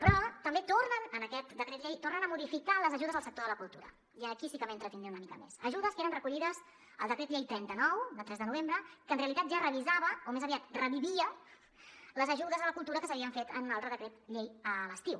però també tornen en aquest decret llei a modificar les ajudes al sector de la cultura i aquí sí que m’hi entretindré una mica més ajudes que eren recollides al decret llei trenta nou de tres de novembre que en realitat ja revisava o més aviat revivia les ajudes a la cultura que s’havien fet en un altre decret llei a l’estiu